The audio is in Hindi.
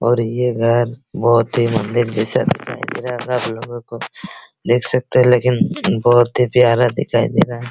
और ये घर बहुत ही मंदिर जैसे दिखाई दे रहा होगा आप लोगो को देख सकते हैं लेकिन बहुत ही प्यारा दिखाई दे रहा है ।